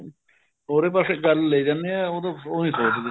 ਹੋਰ ਹੀ ਪਾਸੇ ਗੱਲ ਲੇ ਜਾਂਣੇ ਹੈ ਉਦੋ ਉਹ ਨੀ ਸੋਚਦੇ